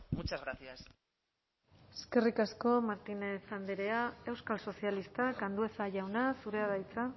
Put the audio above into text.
muchas gracias eskerrik asko martínez andrea euskal sozialistak andueza jauna zurea da hitza